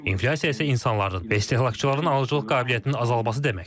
İnflyasiya isə insanların və istehlakçıların alıcılıq qabiliyyətinin azalması deməkdir.